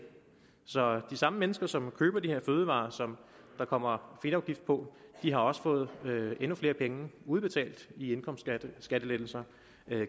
så de samme mennesker som køber de her fødevarer som der kommer fedtafgift på har også fået endnu flere penge udbetalt i indkomstskattelettelser